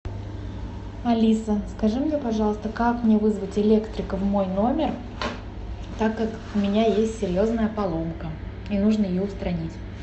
алиса скажи мне пожалуйста как мне вызвать электрика в мой номер так как у меня есть серьезная поломка мне нужно ее устранить